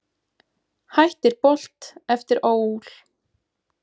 Hættir Bolt eftir ÓL